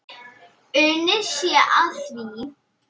Unnið sé að því.